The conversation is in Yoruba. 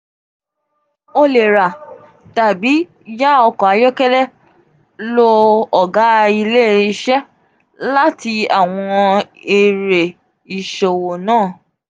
o le ra tabi ya ọkọ ayọkẹlẹ lo òga ile ilse lati awọn ere iṣowo naa.